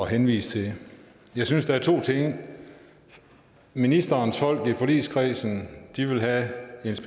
henvise til ministerens folk i forligskredsen vil have